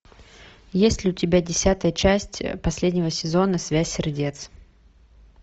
есть ли у тебя десятая часть последнего сезона связь сердец